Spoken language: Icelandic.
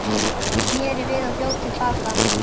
Ég sneri við og hljóp til baka.